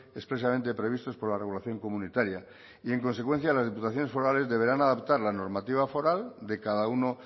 expresamente previstos por la regulación comunitaria y en consecuencia las diputaciones forales deberán adaptar la normativa foral de cada uno